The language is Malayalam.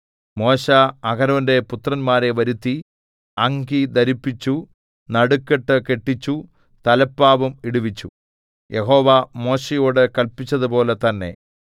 മോശെ അഹരോന്റെ പുത്രന്മാരെ വരുത്തി അങ്കി ധരിപ്പിച്ചു നടുക്കെട്ട് കെട്ടിച്ചു തലപ്പാവും ഇടുവിച്ചു യഹോവ മോശെയോടു കല്പിച്ചതുപോലെ തന്നെ